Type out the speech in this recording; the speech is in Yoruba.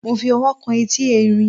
mo fi ọwọ́ kan etí ẹrin